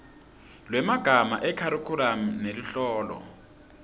lwemagama ekharikhulamu neluhlolo